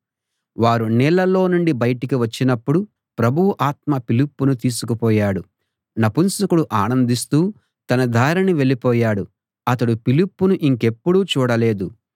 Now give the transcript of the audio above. వారు నీళ్లలో నుండి బయటికి వచ్చినపుడు ప్రభువు ఆత్మ ఫిలిప్పును తీసుకుపోయాడు నపుంసకుడు ఆనందిస్తూ తన దారిన వెళ్ళిపోయాడు అతడు ఫిలిప్పును ఇంకెప్పుడూ చూడలేదు